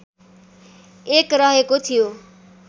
एक रहेको थियो